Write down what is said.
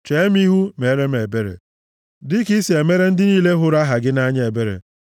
Chee m ihu, meere m ebere, dịka i si emere ndị niile hụrụ aha gị nʼanya ebere.